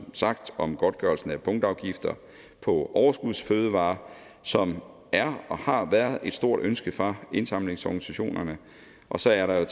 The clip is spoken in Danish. sagt om godtgørelsen af punktafgifter på overskudsfødevarer som er og har været et stort ønske fra indsamlingsorganisationerne og så er der